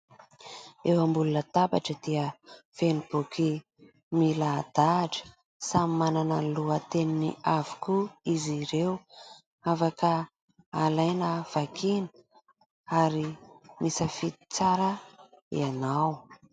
Eo ambony latabatra dia feno boky milahadahatra samy manana ny lohateniny avokoa izy ireo. Afaka alaina vakiana ary misafidy tsara ianao.